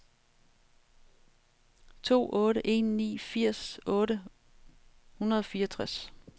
to otte en ni firs otte hundrede og fireogtres